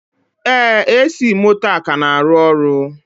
Ee, AC moto a ka na-arụ ọrụ.